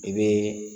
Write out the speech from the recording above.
I bɛ